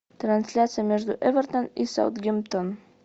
трансляция между эвертон и саутгемптон